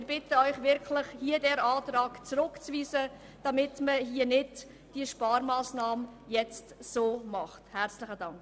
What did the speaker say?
Wir bitten Sie wirklich, diesen Antrag zurückzuweisen, damit diese Sparmassnahme nicht so umgesetzt wird.